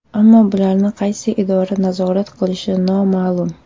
Ammo bularni qaysi idora nazorat qilishi noma’lum.